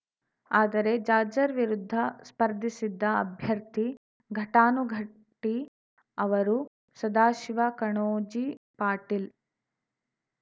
ಆದರೆ ಜಾರ್ಜರ್ ವಿರುದ್ಧ ಸ್ಪರ್ಧಿಸಿದ್ದ ಅಭ್ಯರ್ಥಿ ಘಟಾನುಘಟಿ ಅವರು ಸದಾಶಿವ ಕಣೋಜಿ ಪಾಟೀಲ್‌